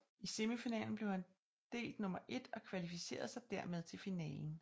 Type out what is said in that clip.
I semifinalen blev han delt nummer ét og kvalificerede sig dermed til finalen